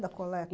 Da coleta.